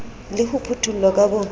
le ho phuthollwa ka bo